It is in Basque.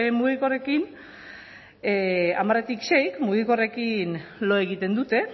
mugikorrekin hamaretik seik mugikorrekin lo egiten dute